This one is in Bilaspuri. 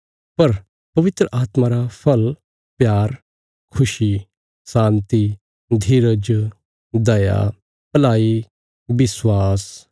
पर पवित्र आत्मा रा फल़ प्यार खुशी शान्ति धीरज दया भलाई विश्वास